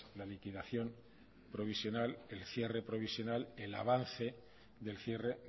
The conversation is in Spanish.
la liquidación provisional el avance del cierre